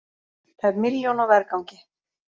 Tæp milljón á vergangi